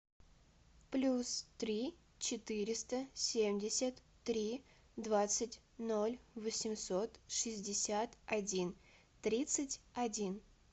плюс три четыреста семьдесят три двадцать ноль восемьсот шестьдесят один тридцать один